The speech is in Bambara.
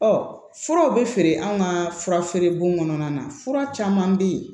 furaw bɛ feere anw ka fura feere bon kɔnɔna na fura caman bɛ yen